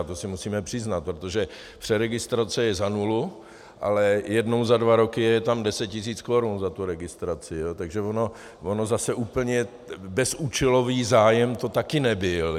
A to si musíme přiznat, protože přeregistrace je za nulu, ale jednou za dva roky je tam deset tisíc korun za tu registraci, takže on zase úplně bezúčelový zájem to taky nebyl.